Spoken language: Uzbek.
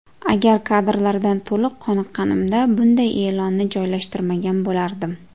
Agar kadrlardan to‘liq qoniqqanimda bunday e’lonni joylashtirmagan bo‘lardim.